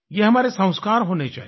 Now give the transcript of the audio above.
ये हमारे संस्कार होने चाहिए